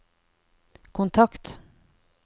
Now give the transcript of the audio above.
kontakt